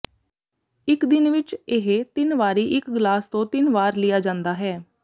ਇਕ ਦਿਨ ਵਿਚ ਇਹ ਤਿੰਨ ਵਾਰੀ ਇਕ ਗਲਾਸ ਤੋਂ ਤਿੰਨ ਵਾਰ ਲਿਆ ਜਾਂਦਾ ਹੈ